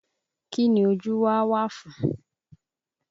Kín ni ojú wa wà fún?